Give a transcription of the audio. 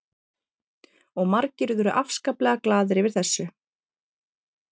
Og margir urðu afskaplega glaðir yfir þessu.